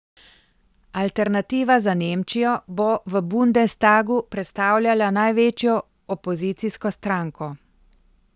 Alternativa za Nemčijo bo v bundestagu predstavljala največjo opozicijsko stranko.